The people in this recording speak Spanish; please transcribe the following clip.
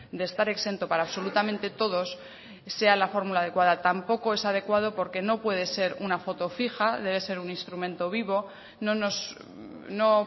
de estar exento para absolutamente todos sea la fórmula adecuada tampoco es adecuado porque no puede ser una foto fija debe ser un instrumento vivo no nos no